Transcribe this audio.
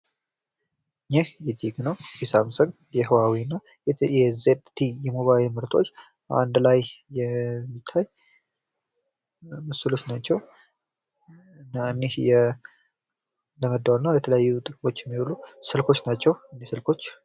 ይህ የቴክኖ፣ የሳምሰንግ፣ የሁአዌይ እና የ ዜድቲኢ የሞባይል ምርቶች አንድ ላይ የሚታይ ምስሎች ናቸው። እና እኒህ ለመደዋወል እና ለተለያዩ ጥቅሞች የሚውሉ ስልኮች ናቸው። ስልኮች!